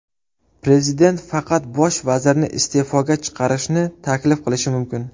Prezident faqat bosh vazirni iste’foga chiqarishni taklif qilishi mumkin.